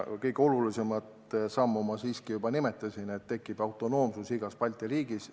Kõige olulisemat sammu ma siiski juba nimetasin – seda, et igas Balti riigis tekib selles valdkonnas autonoomsus.